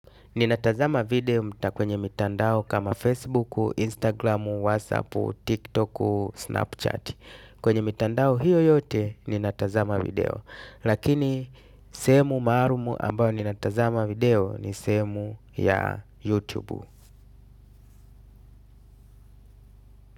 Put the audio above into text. Ninatazama video mta kwenye mitandao kama Facebook, Instagram, WhatsApp, TikTok, Snapchat. Kwenye mitandao hiyo yoye ninatazama video lakini sehemu maalum ambayo ninatazama video ni sehemu ya YouTube.